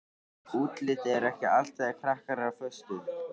Útlitið er ekki allt þegar krakkar eru á föstu.